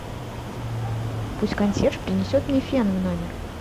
пусть консьерж принесет мне фен в номер